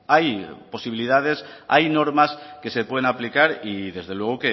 hay posibilidades hay normas que se pueden aplicar y desde luego